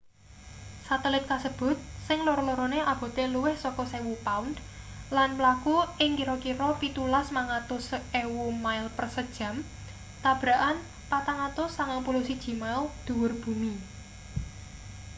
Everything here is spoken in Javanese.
satelit kasebut sing loro-lorone abote luwih saka 1000 pound lan mlaku ing kira-kira 17.500 mile se jam tabrakan 491 mile dhuwur bumi